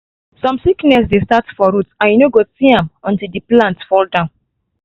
some sickness dey start for root and you no go see am until the plant fall down.